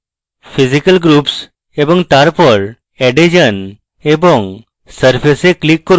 physical groups>> add এ যান এবং surface এ click করুন